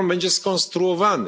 Jak on będzie skonstruowany?